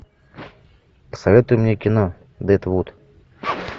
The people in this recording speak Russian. посоветуй мне кино дедвуд